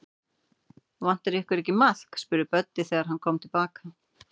Vantar ykkur ekki maðk? spurði Böddi, þegar hann kom til baka.